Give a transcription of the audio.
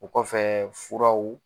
O kɔfɛ furaw